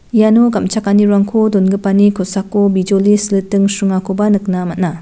iano gam·chakanirangko dongipani kosako bijoli siliting sringakoba nikna man·a.